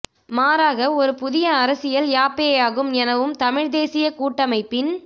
மாறாக ஒரு புதிய அரசியல் யாப்பேயாகும் எனவும் தமிழ் தேசிய கூட்டமைப்பின்